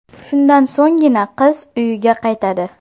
Shundan so‘nggina qiz uyiga qaytadi.